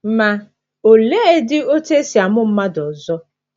Ma, oleedị otú e si amụ mmadụ ọzọ?